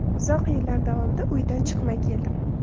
Uzoq yillar davomida uydan chiqmay keldim.